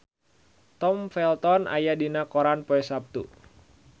Tom Felton aya dina koran poe Saptu